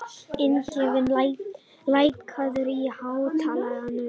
Ingifinna, lækkaðu í hátalaranum.